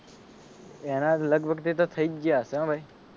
એના લગભગ થી તો થઈ જ ગયા હશે હો ભાઈ